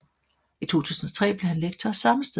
I 2003 blev han lektor samme sted